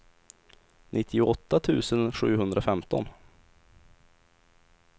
nittioåtta tusen sjuhundrafemton